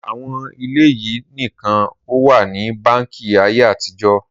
Owó ilẹ̀ yìí nìkan ó wà ní báńkì ayé àtijọ́